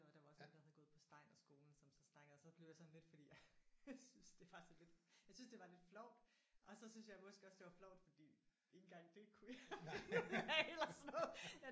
Og der var også en der havde gået på steinerskolen som så snakkede og så blev jeg sådan lidt fordi jeg syntes det var sådan lidt jeg syntes det var lidt flovt og så syntes jeg måske også det var flovt fordi ikke engang det kunne jeg finde ud af eller sådan noget